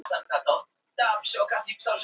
Skinnið er þykkt og nærri hárlaust.